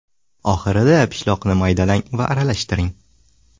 Oxirida pishloqni maydalang va aralashtiring.